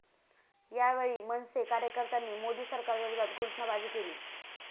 यावेळी मनसे कार्यकर्त्यांनी मोदी सरकारविरोधात घोषणाबाजी केली.